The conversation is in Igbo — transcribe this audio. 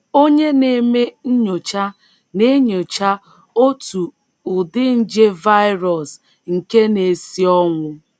Onye na - eme nnyocha na - enyocha otu ụdị nje “ virus ” nke na - esi ọnwụ